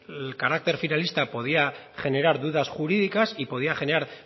el carácter finalista podría generar dudas jurídicas y podría generar